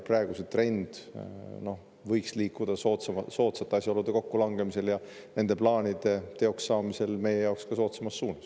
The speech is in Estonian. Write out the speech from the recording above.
Praegu võiks see trend liikuda soodsate asjaolude kokkulangemisel ja nende plaanide teokssaamisel meie jaoks ka soodsamas suunas.